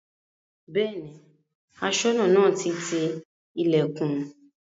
Bẹ́ẹ̀ni Aṣọ́nà náà ti ti ilẹ̀kùn